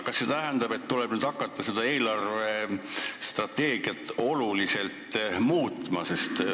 Kas see tähendab, et tuleb hakata eelarvestrateegiat oluliselt muutma?